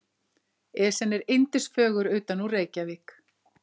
Esjan er yndisfögur utanúr Reykjavík.